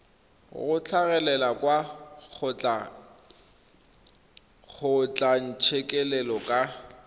go tlhagelela kwa kgotlatshekelo ka